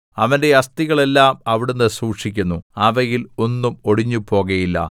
അവന്റെ അസ്ഥികൾ എല്ലാം അവിടുന്ന് സൂക്ഷിക്കുന്നു അവയിൽ ഒന്നും ഒടിഞ്ഞുപോകുകയില്ല